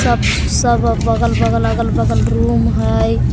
सब बगल बगल अगल बगल रूम हई ।